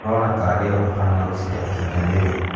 ũrona tarĩ ũũ ũhana gũcinda ihinda rĩrĩ?